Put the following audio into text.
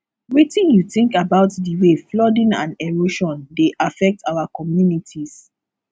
wetin you think about di way flooding and erosion dey affect our communities